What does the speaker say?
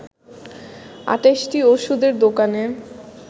২৮টি ওষুধের দোকানে